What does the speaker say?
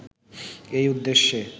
এই উদ্দেশ্যে